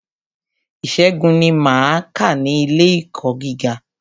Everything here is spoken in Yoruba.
Ìṣègùn ni máa kà ní ilé ẹ̀kọ́ gíga.